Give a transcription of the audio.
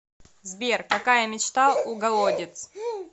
сбер какая мечта у голодец